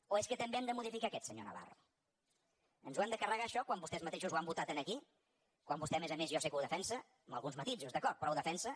o és que també hem de modificar aquest senyor navarro ens ho hem de carregar això quan vostès mateixos ho han votat aquí quan vostè a més a més jo sé que ho defensa amb alguns matisos d’acord però ho defensa